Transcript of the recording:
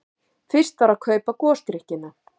Fyrst var að kaupa gosdrykkina.